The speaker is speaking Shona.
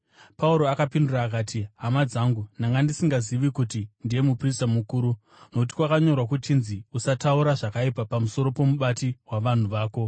Pauro akapindura akati, “Hama dzangu, ndanga ndisingazivi kuti ndiye muprista mukuru; nokuti kwakanyorwa kuchinzi: ‘Usataura zvakaipa pamusoro pomubati wavanhu vako.’ ”